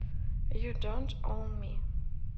ю донт оун ми